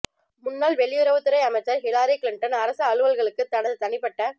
முன்னாள் வெளியுறவுத்துறை அமைச்சர் ஹிலாரி கிளிண்டன் அரசு அலுவல்களுக்கு தனது தனிப்பட்ட